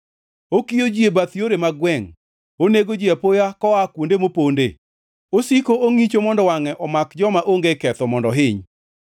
Okiyo ji e bath yore mag gwengʼ, onego ji apoya koa kuonde moponde, osiko ongʼicho mondo wangʼe omaki joma onge ketho mondo ohiny.